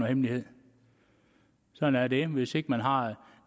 hemmelighed sådan er det hvis ikke man har